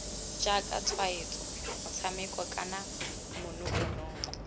jaaka tshwaetso motshameko kana manokonoko